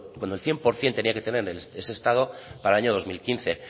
cuando el cien por ciento tendría que tener ese estado para el año dos mil quince